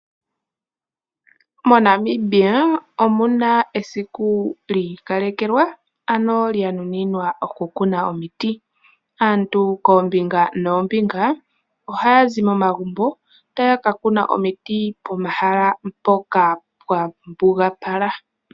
Monamibia omuna esiku li ikalekelwa lyanuninwa okukuna omiti. Aantu koombinga noombinga ohaya zi momagumbo taya ka kuna omiti pomahala mpoka pwambugapala.